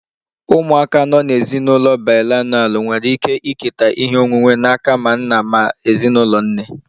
Ụmụaka nọ n'ezinụlọ bilinalụ nwere ike iketa ihe onwunwe n'aka ma nna ma ezinụlọ nne